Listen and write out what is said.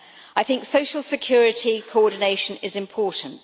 I think social security coordination is important.